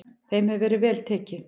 Þeim hefur verið vel tekið.